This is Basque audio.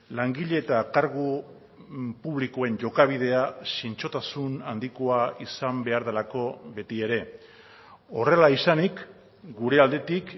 langile eta kargu publikoen jokabidea zintzotasun handikoa izan behar delako beti ere horrela izanik gure aldetik